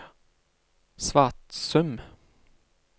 Svatsum